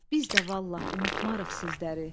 Biz də vallah unutmarıq sizləri.